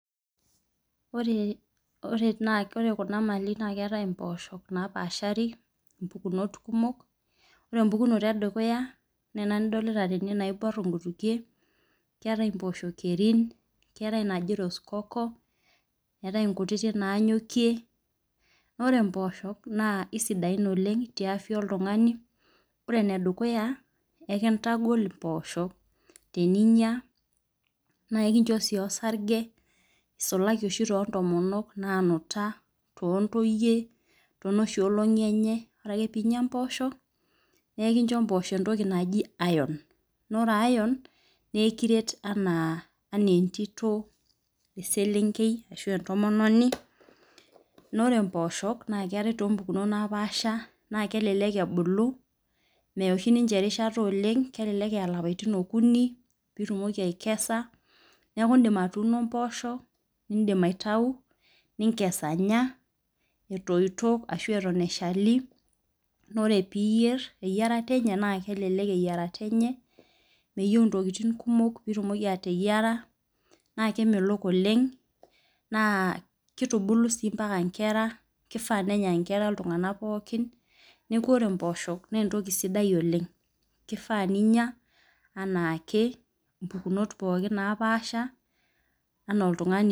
Ore kuna mali na keetae mpoosho napaashari ore emoukunoto edukuya na ena nidolta tene naibor nchumat keetae mposho kerin keetai kuna naji roscoco eetae nkutik nanyokie, ore mpoosho na kesidia teafia oltungani ore enedukuya ekintagol mpoosho nikincho osarge isulaki oshi toltunganak tontominok tontotoyie enooshi kaata enyeore pinya mpoosho nekincho mposho entoki naji iron nekiret ana entito ana eselenkei na ore mpoosho na oshi ninche erishata oleng pitumoki aikesha neamu indim atuuno mposho ninkes anya eshali na ore piyier na kelek eyiarata enye peyieu itumoki ateyiara nakemelok oleng na kitubulu mbaka nkera kifaa nenya nkera ntokitin pookin na ore mpoosho an entoki sidai oleng na kifaa pinya mpukunot pookin napasha ana oltungani.